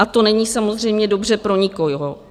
A to není samozřejmě dobře pro nikoho.